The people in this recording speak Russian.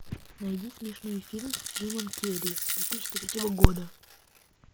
найди смешной фильм с джимом керри две тысячи третьего года